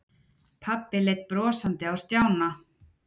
Pabbi leit brosandi á Stjána.